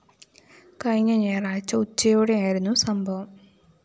കഴിഞ്ഞ ഞായറാഴ്ച ഉച്ചയോടെയായിരുന്നു സംഭവം